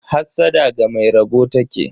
Hassada ga mai rabo taki.